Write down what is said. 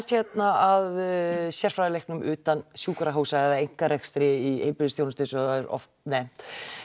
hérna að sérfræðilæknum utan sjúkrahúsa eða einkarekstri í heilbrigðisþjónustu eins og það er oft nefnt